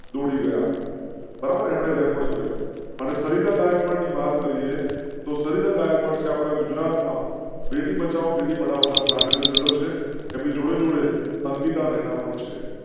દોડી ગયા બરાબર રેકોર્ડ કર્યો અને સરિતા ગાયકવાડ ની વાત કરીએ તો સરિતા ગાયકવાડ છે. આપણા ગુજરાતમાં બેટી બચાઓ બેટી પઢાઓ ના બ્રાન્ડ એમ્બેસેડર છે. એમ ની જોડે અંકિતા રૈના પણ છે.